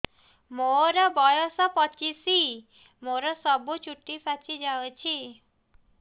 ମୋର ବୟସ ପଚିଶି ମୋର ସବୁ ଚୁଟି ପାଚି ଯାଇଛି